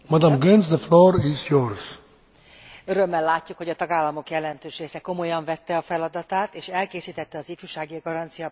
Örömmel látjuk, hogy a tagállamok jelentős része komolyan vette a feladatát, és elkészítette az ifjúsági garancia nemzeti végrehajtási tervét.